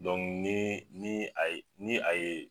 ni ni a ye ni a ye.